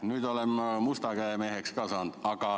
Nüüd olen ma ka musta käe meheks saanud.